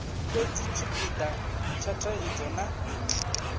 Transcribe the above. fhedzi tshipida tsha thaidzo na